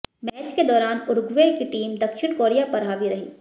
match के दौरान Uruguay की टीम दक्षिण कोरिया पर हावी रही